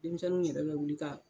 Denmisɛnninw yɛrɛ bɛ wuli ka.